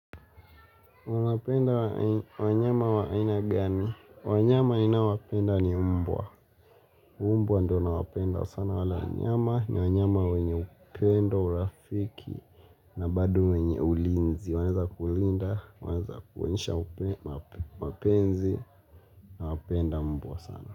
Unapenda wanyama wa aina gani? Wanyama ninaowapenda ni umbwa. Umbwa ndo nawapenda sana wala nyama ni wanyama wenye upendo urafiki na bado wenye ulinzi. Wanaeza kulinda, wanaeza kuonyesha mapenzi nawapenda mbwa sana.